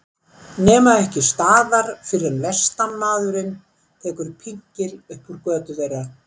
Nema ekki staðar fyrr en vestanmaðurinn tekur pinkil upp úr götu þeirra.